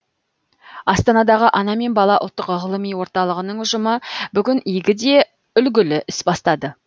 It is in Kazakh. астанадағы ана мен бала ұлттық ғылыми орталығының ұжымы бүгін игі де үлгілі іс бастады